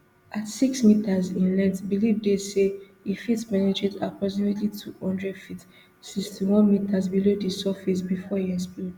at six metres in length believe dey say e fit penetrate approximately two hundred feet sixty-one metres below di surface bifor e explode